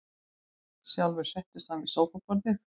Sjálfur settist hann við skrifborðið.